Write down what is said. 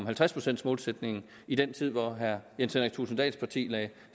halvtreds procents målsætningen i den tid hvor herre jens henrik thulesen dahls parti lagde